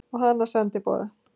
Og hana sendiboða.